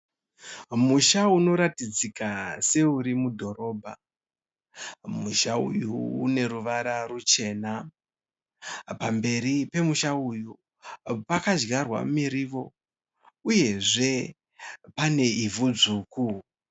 Musha unoratidzika seuri mudhorobha. Musha uyu uneruvara rwuchena. Pamberi pemusha uyu pakadyarwa muriwo, uyezve pane ivhu dzvuku.